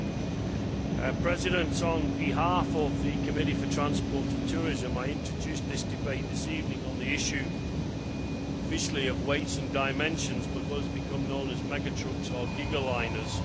Madam President, on behalf of the Committee for Transport and Tourism, I introduce this debate this evening on the issue officially of weights and dimensions but on what has become known as mega trucks or gigaliners.